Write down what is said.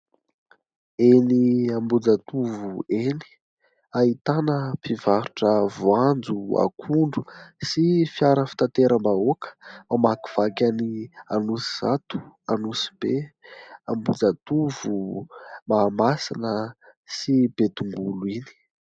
Eny Ambohijatovo eny ahitana mpivarotra voanjo, akondro sy fiara fitateram-bahoaka mamakivaky an'iny Anosizato, Anosibe, Ambohijatovo, Mahamasina sy Betongolo iny.